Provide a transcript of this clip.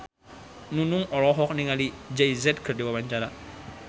Nunung olohok ningali Jay Z keur diwawancara